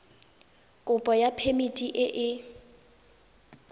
kopo ya phemiti e e